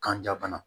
Kanja bana